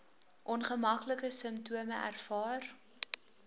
ongemaklike simptome ervaar